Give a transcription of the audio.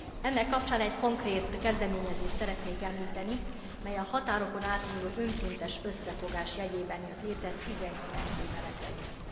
Ennek kapcsán egy konkrét kezdeményezést szeretnék említeni, mely a határokon átnyúló önkéntes összefogás jegyében jött létre 19 évvel ezelőtt.